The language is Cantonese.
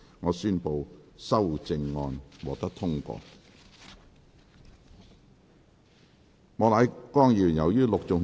我宣布修正案獲得通過。